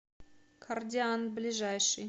кордиант ближайший